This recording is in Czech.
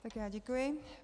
Tak já děkuji.